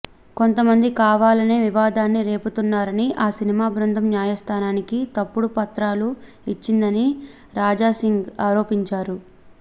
కొంతమంది కావాలనే వివాదాన్ని రేపుతున్నారని ఆ సినిమా బృందం న్యాయస్థానానికి తప్పుడు పత్రాలు ఇచ్చిందని రాజాసింగ్ ఆరోపించారు